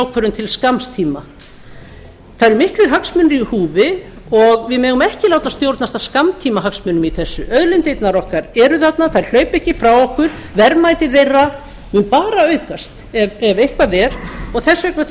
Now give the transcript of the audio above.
hagstjórnarákvörðun til skamms tíma það eru miklir hagsmunir í húfi og við megum ekki láta stjórnast af skammtíma hagsmunum í þessu auðlindirnar okkar eru þarna þær hlaupa ekki frá okkur verðmæti þeirra mun bara aukast ef eitthvað er og þess vegna þurfum